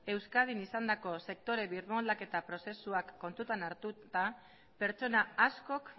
euskadin izandako sektore birmoldaketa prozesuak kontutan hartuta pertsona askok